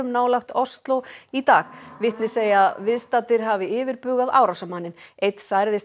nálægt Osló í dag vitni segja að viðstaddir hafi yfirbugað árásarmanninn einn særðist